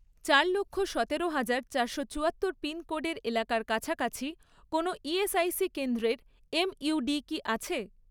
চার লক্ষ , সতেরো হাজার , চারশো চুয়াত্তর পিনকোডের এলাকার কাছাকাছি কোনও ইএসআইসি কেন্দ্রের এমইউডি কি আছে?